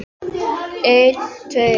Geymi það með sjálfri mér einsog allt annað.